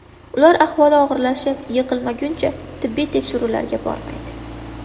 Ular ahvoli og‘irlashib yiqilmaguncha tibbiy tekshiruvlarga bormaydi.